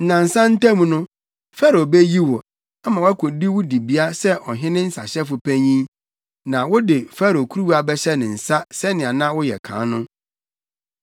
Nnansa ntam no, Farao beyi wo, ama woakodi wo dibea sɛ ɔhene nsahyɛfo panyin. Na wode Farao kuruwa bɛhyɛ ne nsa sɛnea na woyɛ no kan no.